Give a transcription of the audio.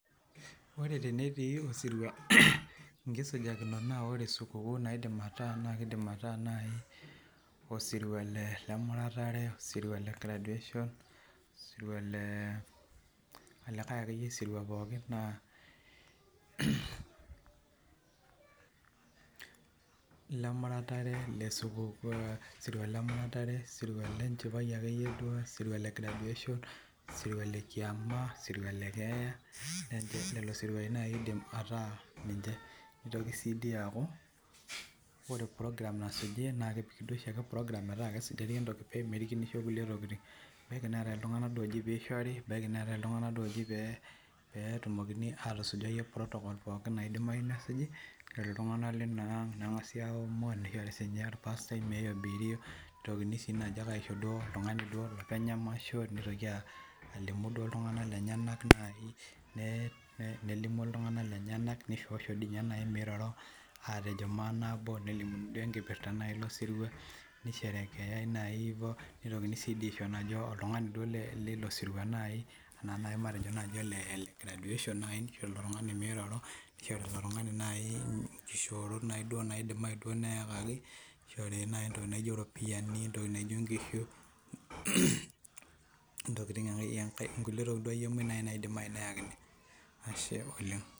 Wore tenetii osirua inkisujakinot naa wore sukukuu naidim ataa naa kiidim ataa nai osirua lemuratare, osirua le graduation, osirua le olikae akeyie sirua pookin, naa lemuratare le sukuu sirua lemuratare sirua lenchipae ake duo, sirua le graduation, sirua le kiama, sirua le keeya, lelo siruai naa kiidim ataa ninche. Nitoki sii dii aaku, wore program nasuji, naa kesuji duo oshiake program metaa kesujari entoki pee merikinisho kulie tokitin. Ebaiki neetae iltunganak duo ooji pee ishori, ebaiki neetae iltunganak duo ooji pee etumokini aatusujai protocols pookin naidimayu nesuji, nishori iltunganak liniang, nengasi aomon, nishori sininye orpasitae miobiri, nitokini sii naaji ake aisho duo oltungani duo olopeny emasho, nitoki alimu duo iltunganak lenyanak nai, nelimu iltunganak lenyanak, nishoosho dii inye nai miroro, aatejo maanabo, nelimu duo enkipirta nai losirua, nisherekeyai nai ivo nitokini sii dii aisho naaji oltungani duo lilo sirua nai. Enaa naai matejo naji ole graduation nai, nishori ilo tungani miroro, nishori ile tungani nai inkishoorot naaduo naidimai nai neekaki, nishori nai entoki naijo iropiyani, entoki naijo inkishu, inkulie tokitin duo moj naidimai neakini, Ashe oleng'.